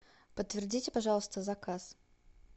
подтвердите пожалуйста заказ